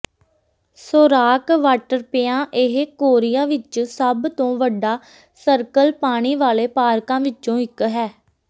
Sorak Waterpia ਇਹ Korea ਵਿੱਚ ਸਭ ਤੋਂ ਵੱਡਾ ਸਰਕਲ ਪਾਣੀ ਵਾਲੇ ਪਾਰਕਾਂ ਵਿੱਚੋਂ ਇੱਕ ਹੈ